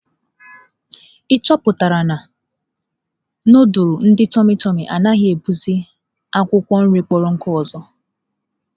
Ị chọpụtala na, nudulu ndị tụmị tụmị anaghị etinyekwa akwụkwọ nri kpọrọ nkụ ọzọ?